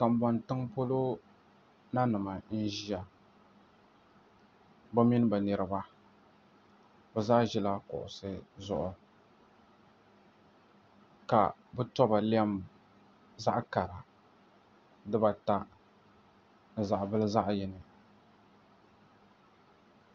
Konbon tiŋ polo nanim n ʒiya bi mini bi niraba bi zaa ʒila kuɣusi zuɣu ka bi toba lɛm zaɣ kara dibata ni zaɣ bili zaɣ yini